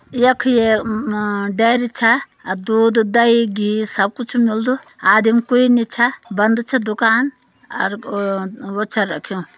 यख ये म डेरी छ। अ दूध दही घी सब कुछ मिल्दु आदिम क्वे नि छ। बंद छ दुकान अर ओ-वो छ रख्युं।